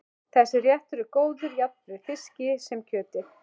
Þessi réttur er góður jafnt með fiski sem kjöti.